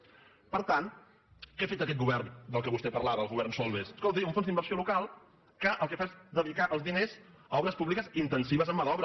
per tant què ha fet aquest govern de què vostè parlava el govern solbes escolti un fons d’inversió local que el que fa és dedicar els diners a obres públiques intensi·ves en mà d’obra